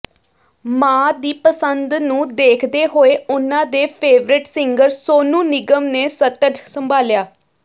ਮਾਂ ਦੀ ਪਸੰਦ ਨੂੰ ਦੇਖਦੇ ਹੋਏ ਉਨ੍ਹਾਂ ਦੇ ਫੇਵਰੇਟ ਸਿੰਗਰ ਸੋਨੂ ਨਿਗਮ ਨੇ ਸਟਜ ਸੰਭਾਲਿਆ